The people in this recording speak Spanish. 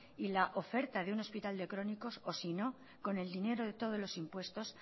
y la oferta de un hospital de crónicos o sino con el dinero de todos los impuestos